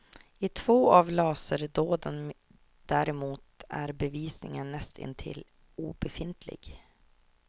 I två av laserdåden däremot är bevisningen näst intill obefintlig.